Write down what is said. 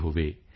ਹੋਣ ਸੀ